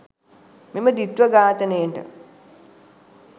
මෙම ද්විත්ව ඝාතනයට